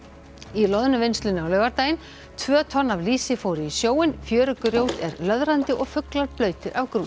í Loðnuvinnslunni á laugardaginn tvö tonn af lýsi fóru í sjóinn fjörugrjót er löðrandi og fuglar blautir af grút